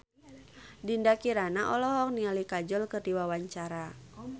Dinda Kirana olohok ningali Kajol keur diwawancara